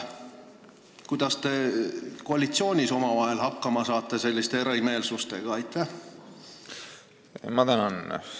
Kuidas te koalitsioonis omavahel selliste erimeelsustega hakkama saate?